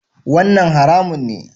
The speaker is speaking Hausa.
Wannan haramun ne?